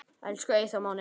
Elsku Eyþór Máni.